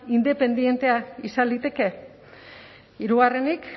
independentea izan liteke hirugarrenik